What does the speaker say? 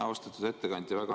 Austatud ettekandja!